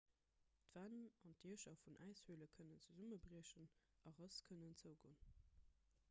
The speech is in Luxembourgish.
d'wänn an d'diecher vun äishöle kënnen zesummebriechen a rëss kënnen zougoen